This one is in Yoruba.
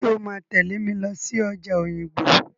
Ṣé o máa tẹ̀lé mi lọ sí ọjà Òyìngbò?